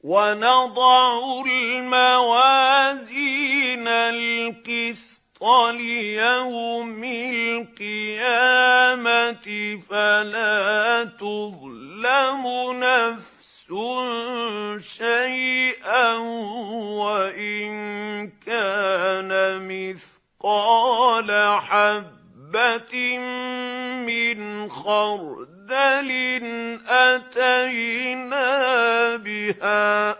وَنَضَعُ الْمَوَازِينَ الْقِسْطَ لِيَوْمِ الْقِيَامَةِ فَلَا تُظْلَمُ نَفْسٌ شَيْئًا ۖ وَإِن كَانَ مِثْقَالَ حَبَّةٍ مِّنْ خَرْدَلٍ أَتَيْنَا بِهَا ۗ